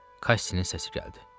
Kassinin səsi gəldi.